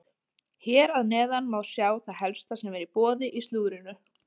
Hér að neðan má sjá það helsta sem er í boði í slúðrinu.